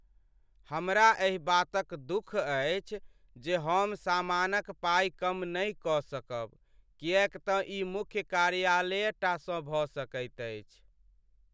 हमरा एहि बातक दुख अछि जे हम सामानक पाइ कम नहि कऽ सकब किएक तँ ई मुख्य कार्यालयेटा सँ भऽ सकैत अछि।